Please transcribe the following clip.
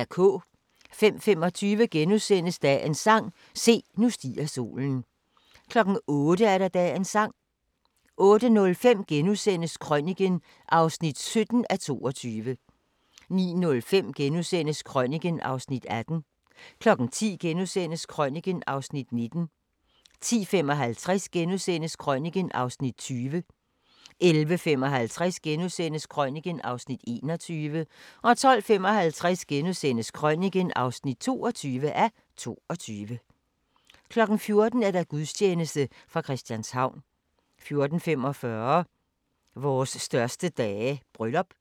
05:25: Dagens sang: Se, nu stiger solen * 08:00: Dagens sang 08:05: Krøniken (17:22)* 09:05: Krøniken (18:22)* 10:00: Krøniken (19:22)* 10:55: Krøniken (20:22)* 11:55: Krøniken (21:22)* 12:55: Krøniken (22:22)* 14:00: Gudstjeneste fra Christianshavn 14:45: Vores største dage – bryllup